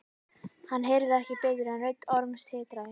Hann heyrði ekki betur en rödd Orms titraði.